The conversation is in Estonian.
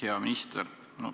Hea minister!